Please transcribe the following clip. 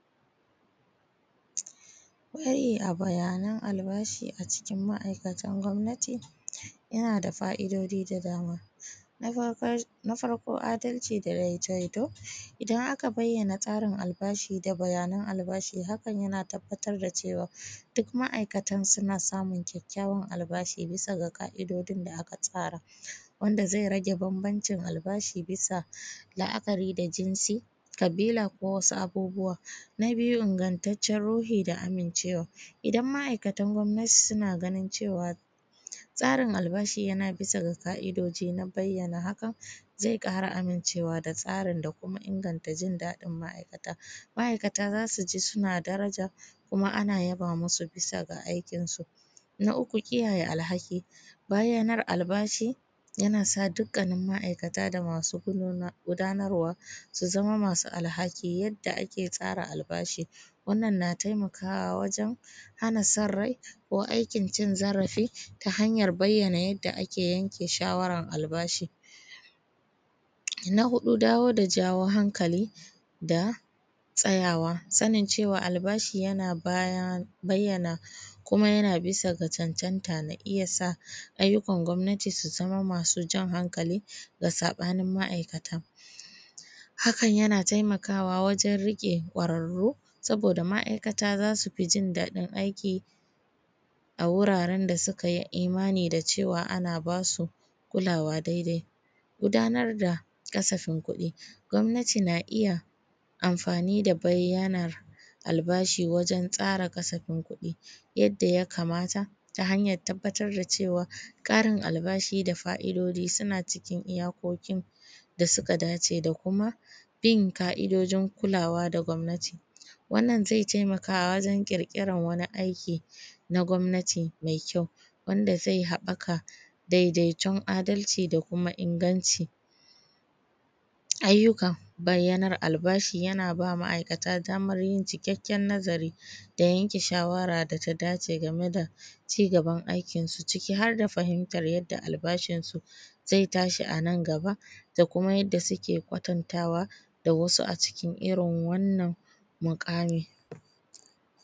Kwaye a bayanan albashi a cikin ma’aikatan gwamnati yana da fa’idoji da dama. A farko, a dalchi da jai jaito, idan aka bayyana tsarin albashi da bayanan albashi, hakan yana tabattar da cewa duk ma’aikata suna samun kyakyawan albashi bisa da ƙa’idojin da aka tsara, wanda ze rage bambancin albashi bisa la’akari da jinsi, ƙabila, ko wasu abubbuwa. Na biyu, ingataccen ruhi da aminchewa: idan ma’aikatan gwamnati suna ganin cewa tsarin albashi yana bisa ƙa’idoji, dan bayyana haka ze ƙara aminchewa da tsarin, da inganta jin daɗin ma’aikata. Ma’aikata zasu ji suna daraja, kuma ana yaba musu bisa ga aikinsu. Na uku, kiyaye alhaki: bayyanar albashi yana sa dukkanin ma’aikata da masu gudnarwa su zama masu alhaki yadda ake tsara albashi. Wannan na taimakawa wajen hana sarra-i aiki, cin zarafi ta hanyan bayyana yadda ake yanke shawarar albashi. Na huɗu, dawo da jawo hankali da tsawo tsananjewan albashi: bayyana kuma yana bisa da cancanta, na iya sa ayyukan gwamnati su zama masu jan hankali ga sabanin ma’aikata. Hakan yana taimaka wajen riƙe ƙwararru, saboda ma’aikata za su fi jin daɗin aiki a wuraren da suka yi imani da cewa ana ba su kula daidai. Gudnar da ƙasafin kuɗi: gwamnati na iya amfani da albashi wajen tsara ƙasafin kuɗi yadda ya kamata, ta hanyan tabattar da cewa ƙarin albashi da fa’idoji suna cikin iya haƙƙokin da suka dace da ku, da kuma bin ƙa’idojin kulawa da gwamnati. Wannan ze taimaka wajen ƙirkira wani aiki na gwamnati mai kyau, wanda ze haɓaka daidaiton a dalchi da kuma ingancin ayyuka. Bayyanar albashi yana ba ma’aikata daman yin ishashen yanayyi da yanke shawara da ta dace game da ci gaban aikinsu, ciki har da fahimtan yadda albashinsu ze tashi a nan gaba, da kuma yadda suke kwatantawa da wasu a cikin wannan muƙamin.